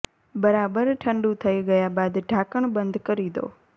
બરાબર ઠંડુ થઈ ગયા બાદ ઢાંકણ બંધ કરી દો